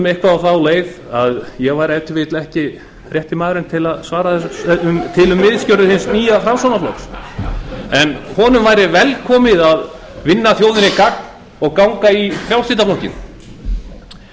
eitthvað á þá leið að ég væri ef til vill ekki rétti maðurinn til að svara til um misgjörðir hins nýja framsóknarflokks en honum væri velkomið að vinna þjóðinni gagn og ganga í frjálslynda flokkinn